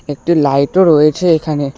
একটি লাইটও রয়েছে এখানে।